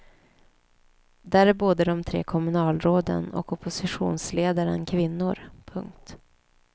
Där är både de tre kommunalråden och oppositionsledaren kvinnor. punkt